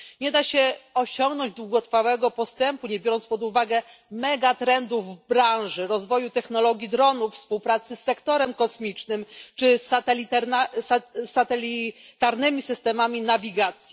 Nie da się osiągnąć długotrwałego postępu, nie biorąc pod uwagę megatrendów w branży rozwoju technologii dronów, współpracy z sektorem kosmicznym czy satelitarnymi systemami nawigacji.